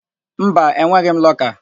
Mba, enweghị m lọka.